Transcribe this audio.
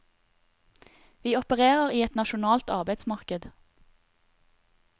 Vi opererer i et nasjonalt arbeidsmarked.